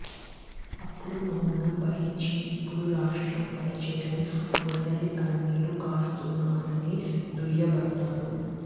అప్పుడు మౌనం వహించి ఇప్పుడు రాష్ట్రంపై జగన్ మొసలి కన్నీరు కారుస్తున్నారని దుయ్యబట్టారు